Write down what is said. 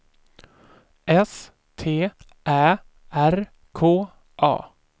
S T Ä R K A